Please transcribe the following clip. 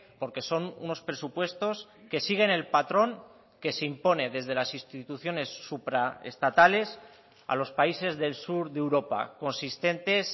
porque son unos presupuestos que siguen el patrón que se impone desde las instituciones supra estatales a los países del sur de europa consistentes